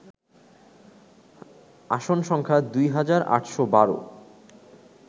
আসন সংখ্যা দুই হাজার ৮১২